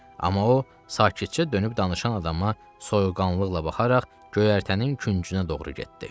Amma o, sakitcə dönüb danışan adama soyuqqanlıqla baxaraq, göyərtənin küncünə doğru getdi.